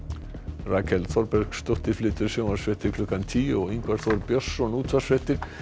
Rakel Þorbergsdóttir flytur sjónvarpsfréttir klukkan tíu og Ingvar Þór Björnsson útvarpsfréttir